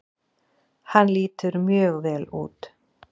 Hann lítur mjög vel út.